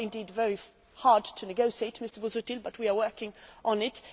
They are indeed very hard to negotiate, Mr Busuttil, but we are working on it.